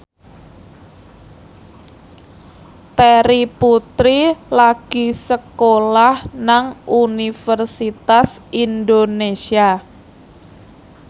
Terry Putri lagi sekolah nang Universitas Indonesia